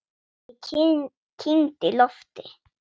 Ég kyngdi lofti.